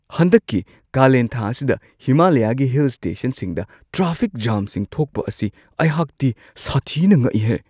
ꯍꯟꯗꯛꯀꯤ ꯀꯥꯂꯦꯟꯊꯥ ꯑꯁꯤ ꯍꯤꯃꯥꯂꯌꯥꯒꯤ ꯍꯤꯜ ꯁ꯭ꯇꯦꯁꯟꯁꯤꯡꯗ ꯇ꯭ꯔꯥꯐꯤꯛ ꯖꯥꯝꯁꯤꯡ ꯊꯣꯛꯄ ꯑꯁꯤꯗ ꯑꯩꯍꯥꯛꯇꯤ ꯁꯥꯊꯤꯅ ꯉꯛꯏꯍꯦ !